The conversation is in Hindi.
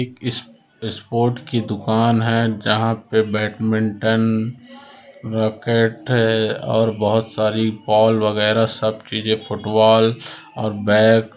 एक सपोर्ट की दुकान हैं जहा पे बड़मेंटन रैकेट हैं और बहुत सारी बोल वगैरा सब चीज़ें फुटबाल और बैग --